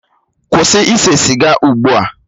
Kwụsị ise siga ugbu a!